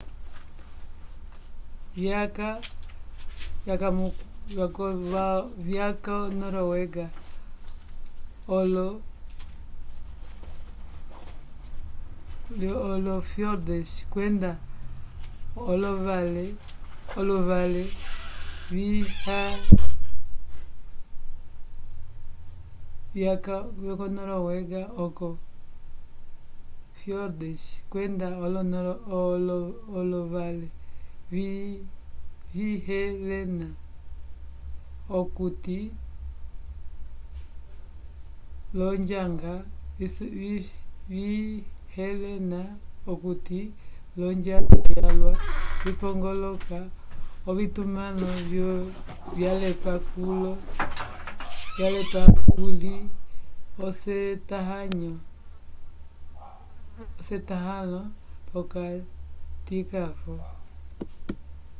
vyaka vo noruega olo-fiordes kwenda olovale vishelena okuti l'onjanga yalwa vipongoloka ovitumãlo vyalepa kuli esetãhalo p'okatikavo